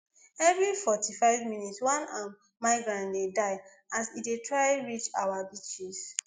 every forty-five minutes one um migrant dey die as e dey try reach our beaches